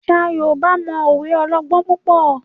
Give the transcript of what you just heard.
Àṣà Yorùbá no òwe ọlọgbọn púpọ.